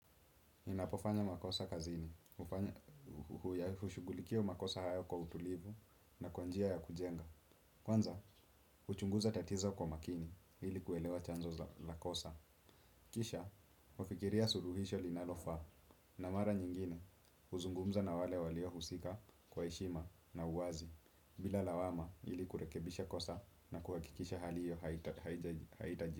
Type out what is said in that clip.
Ninapofanya makosa kazini, hushughulikia makosa hayo kwa utulivu na kwanjia ya kujenga. Kwanza, uchunguza tatizo kwa makini ili kuelewa chanzo za la kosa. Kisha, hufikiria suluhisho linalofaa na mara nyingine huzungumza na wale walio husika kwa heshima na uwazi bila lawama ili kurekebisha kosa na kuhakikisha hali hiyo haitaji.